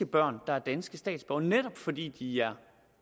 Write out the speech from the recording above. børn der er danske statsborgere netop fordi de er